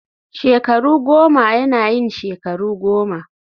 shekaru goma yana yin shekaru goma